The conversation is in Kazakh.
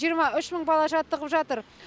жиырма үш мың бала жаттығып жатыр